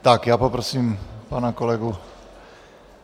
Tak já poprosím pana kolegu.